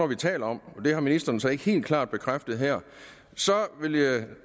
vi taler om og det har ministeren så ikke helt klart bekræftet her så vil jeg